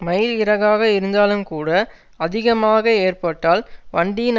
மயில் இறகாக இருந்தாலும்கூட அதிகமாக ஏற்ப்பட்டால் வண்டியின்